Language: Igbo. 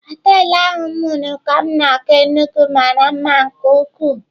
Họtelụ ahu m huru ka m na-aga Enugu mara mma nke ukwuu.